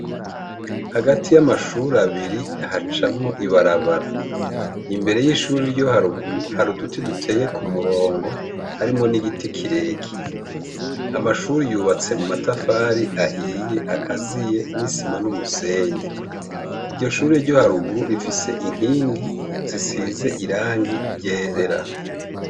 Hagati y’amashur’abiri hacamwo ibarabara. Imbere y’ishuri ryo haruguru har’uduti duteye kumurongo harimwo n’igiti kirekire. Amashure yubatse mumatafari ahiye akaziye n’isima n’umusenyi. Iryo shure ryo haruguru rifise inkingi zisize irangi ryera.